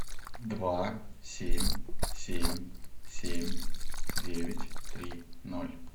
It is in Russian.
два семь семь семь девять три ноль